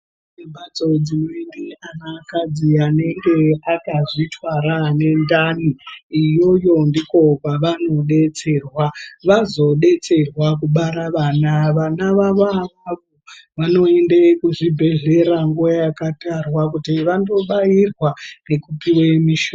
Imbatso dzinoningire anakadzi anenge akazvitwara anendani. Iyoyo ndiko kwavanodetserwa. Vazodetserwa kubara vana, vana vavo avavo vanoende kuzvibhedlera nguva yakatarwa kuti vandobairwa nekupiwe mishonga.